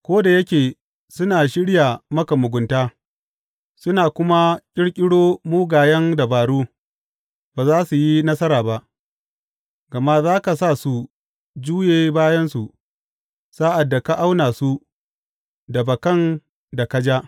Ko da yake suna shirya maka mugunta suna kuma ƙirƙiro mugayen dabaru, ba za su yi nasara ba; gama za ka sa su juye bayansu sa’ad da ka auna su da bakan da ka ja.